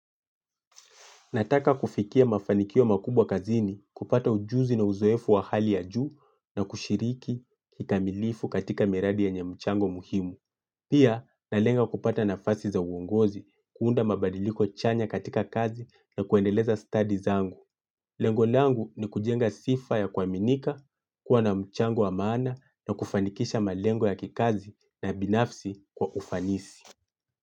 Nataka kufikia mafanikio makubwa kazini kupata ujuzi na uzoefu wa hali ya juu na kushiriki kikamilifu katika miradi yenye mchango muhimu. Pia, na lenga kupata nafasi za uongozi kuunda mabadiliko chanya katika kazi na kuendeleza stadi zangu. Lengo langu ni kujenga sifa ya kuaminika, kuwa na mchango wa maana na kufanikisha malengo ya kikazi na binafsi kwa ufanisi.